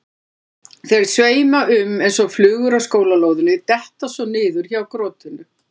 Þeir sveima um eins og flugur á skólalóðinni, detta svo niður hjá krotinu.